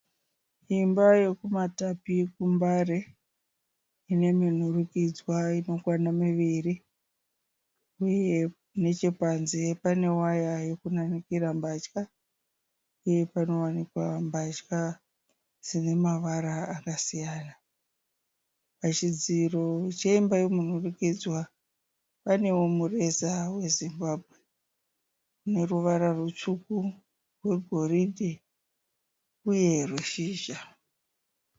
Imba yekuMatapi kuMbare ine minhurukidzwa inokwana miviri uye nechepanze pane waya yokunanikira mbatya uye panowanikwa mbatya dzine mavara akasiyana. Pachidziro chemba yomunhurikidzwa panewo mureza weZimbabwe une ruvara rutsvuku, rwegoridhe uye rweshizha.